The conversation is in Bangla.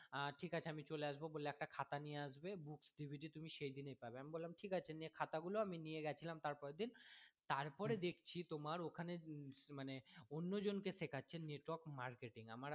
আহ ঠিক আছে আমি চলে আসবো বলে একটা খাতা নিয়ে আসবে booksDVD তুমি সেই দিনই পাবে আমি বললাম ঠিক আছে নিয়ে খাতা গুলো আমি নিয়ে গেছিলাম তার পরের দিন তারপরে দেখছি তোমার ওখানে মানে অন্য জন কে শেখাচ্ছে network marketing আমার